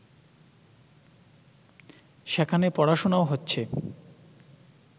সেখানে পড়াশোনাও হচ্ছে